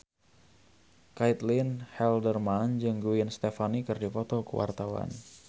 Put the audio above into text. Caitlin Halderman jeung Gwen Stefani keur dipoto ku wartawan